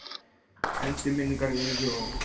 Endurminningar Evu Ó.